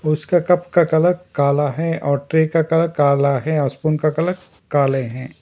उसके कप का कलर काला है और ट्रै का कलर काला है और स्पून का कलर काले हैं।